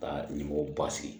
Ka ɲɛmɔgɔ ba sigi